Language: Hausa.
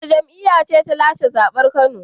Wace jam'iyya ce ta lashe zaben jihar Kano?